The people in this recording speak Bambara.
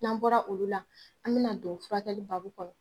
N'an bɔra olu la, an mi na don furakɛli babu kɔnɔ.